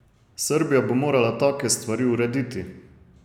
Srbija bo morala take stvari urediti.